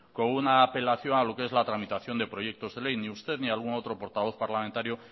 con una apelación a lo que es la tramitación de proyecto de ley ni usted ni algún otro portavoz parlamentario